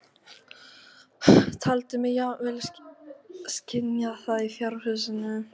Taldi mig jafnvel skynja það í fjárhúsinu.